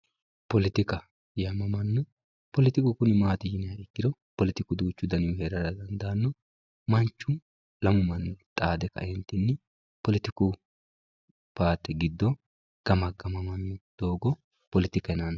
poletika poletiku kuni maati yiniha ikkiro poletiku duuchu danihu heeranno eee manchu lamu manni xaade kae poletiku paarte giddo gamagamamanno doogo poletika yinanni